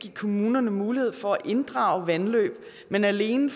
give kommunerne mulighed for at inddrage vandløb men alene